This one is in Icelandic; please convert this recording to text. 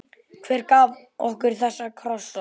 Hver gaf okkur þessa krossa?